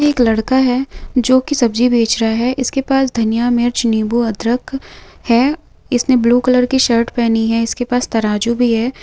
यह एक लड़का है जो की सब्जी बेच रहा है इसके पास धनिया मिर्च नींबू अदरक है इसने ब्लू कलर की शर्ट पहनी है इसके पास तराजू भी है।